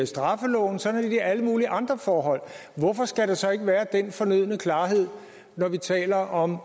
straffeloven sådan er det i alle mulige andre forhold hvorfor skal der så ikke være den fornødne klarhed når vi taler om